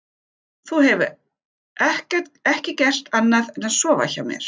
Þú hefur ekki gert annað en að sofa hjá mér.